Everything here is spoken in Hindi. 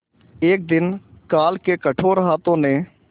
एक दिन काल के कठोर हाथों ने